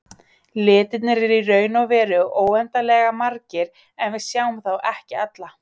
Litirnir eru í raun og veru óendanlega margir en við sjáum þá ekki alla.